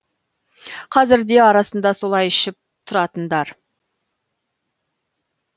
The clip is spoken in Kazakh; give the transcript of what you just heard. қазір де арасында солай ішіп тұратындар